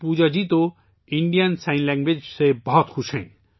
پوجا جی، جن کا تعلق ہریانہ سے ہے، بھارتی اشاروں کی زبان سے بہت خوش ہیں